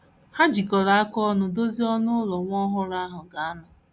Ha jikọrọ aka ọnụ dozie ọnụ ụlọ nwa ọhụrụ ahụ ga - anọ.